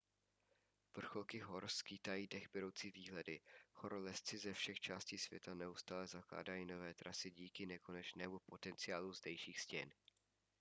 vrcholky hor skýtají dechberoucí výhledy horolezci ze všech částí světa neustále zakládají nové trasy díky nekonečnému potenciálu zdejších stěn